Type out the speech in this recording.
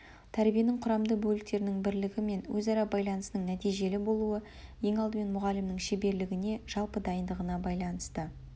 тәрбиенің құрамды бөліктерінің бірлігі мен өзара байланысының нәтижелі болуы ең алдымен мұғалімнің шеберлігіне жалпы дайындығына байланысты